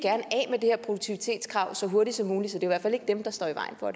her produktivitetskrav så hurtigt som muligt så i hvert fald ikke dem der står i vejen for